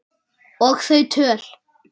Og þau töl